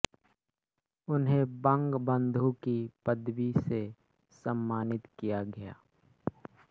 उन्हें बंगबन्धु की पदवी से सम्मानित किया गया